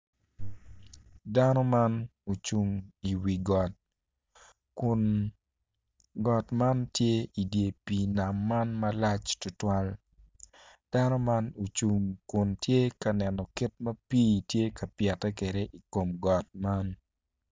Dano man ocung i wi got kun got man tye i dye pii nam man malac tutwal dano man tye ocung kun tye ka neno kit ma pii tye ka pyete kwede i kom got man.